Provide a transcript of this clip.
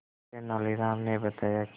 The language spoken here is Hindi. तेनालीराम ने बताया कि